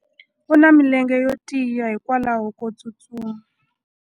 u na milenge yo tiya hikwalaho ko tsustuma